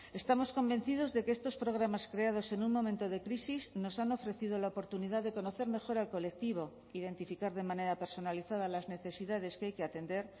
estamos convencidos de que estos programas creados en un momento de crisis nos han ofrecido la oportunidad de conocer mejor al colectivo identificar de manera personalizada las necesidades que hay que atender